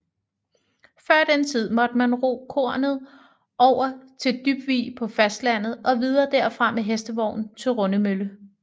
Før den tid måtte man ro kornet over til Dybvig på fastlandet og videre derfra med hestevogn til Rundemølle